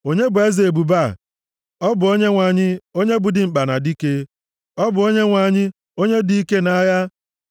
Onye bụ eze ebube + 24:8 \+xt Mkp 19:11-16\+xt* a? Ọ bụ Onyenwe anyị, onye bụ dimkpa na dike. Ọ bụ Onyenwe anyị, onye bụ dike nʼagha.